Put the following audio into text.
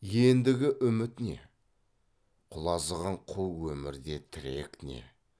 ендігі үміт не құлазыған қу өмірде тірек не